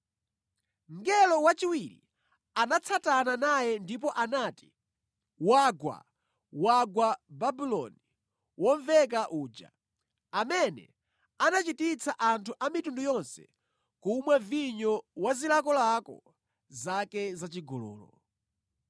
Mngelo wachiwiri anatsatana naye ndipo anati, “Wagwa! Wagwa Babuloni womveka uja, amene anachititsa anthu a mitundu yonse kumwa vinyo wa zilakolako zake zachigololo.”